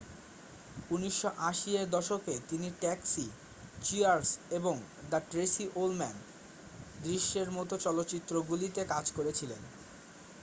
1980 এর দশকে তিনি ট্যাক্সি চিয়ার্স এবং দ্য ট্রেসি ওলম্যান দৃশ্যের মতো চলচ্চিত্রগুলিতে কাজ করেছিলেন